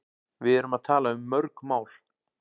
Við erum að tala um mörg mál.